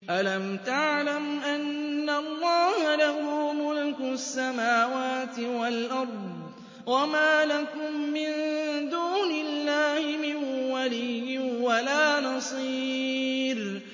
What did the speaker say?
أَلَمْ تَعْلَمْ أَنَّ اللَّهَ لَهُ مُلْكُ السَّمَاوَاتِ وَالْأَرْضِ ۗ وَمَا لَكُم مِّن دُونِ اللَّهِ مِن وَلِيٍّ وَلَا نَصِيرٍ